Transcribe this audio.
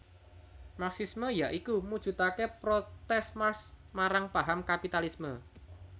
Marxisme ya iku mujudake protes Marx marang paham kapitalisme